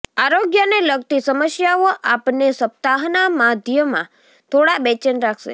આરોગ્યને લગતી સમસ્યાઓ આપને સપ્તાહના મધ્યમાં થોડા બેચેન રાખશે